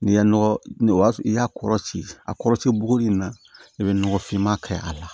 N'i ye nɔgɔ o y'a sɔrɔ i y'a kɔrɔ ci a kɔrɔcɛ buguri in na i bɛ nɔgɔ finma kɛ a la